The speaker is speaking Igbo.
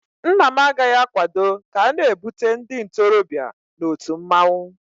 Nna m agaghị akwado ka a na-ebute ndị ntorobịa na otu mmanwụ